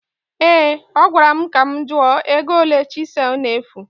Ee, ọ gwara m ka m jụọ ego ole chịsel na-efu